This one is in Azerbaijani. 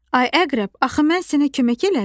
Ay əqrəb, axı mən sənə kömək elədim.